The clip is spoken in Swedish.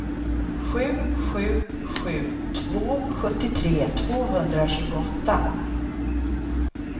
sju sju sju två sjuttiotre tvåhundratjugoåtta